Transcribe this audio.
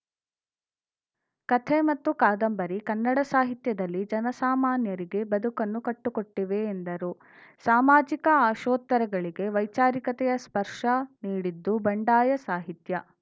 ಕಥೆ ಮತ್ತು ಕಾದಂಬರಿ ಕನ್ನಡ ಸಾಹಿತ್ಯದಲ್ಲಿ ಜನಸಾಮಾನ್ಯರಿಗೆ ಬದುಕನ್ನು ಕಟ್ಟುಕೊಟ್ಟಿವೆ ಎಂದರು ಸಾಮಾಜಿಕ ಆಶೋತ್ತರಗಳಿಗೆ ವೈಚಾರಿಕತೆಯ ಸ್ಪರ್ಷ ನೀಡಿದ್ದು ಬಂಡಾಯ ಸಾಹಿತ್ಯ